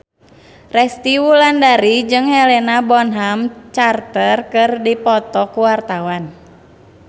Resty Wulandari jeung Helena Bonham Carter keur dipoto ku wartawan